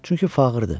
Çünki fağırdır.